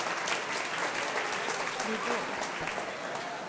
nivå åtte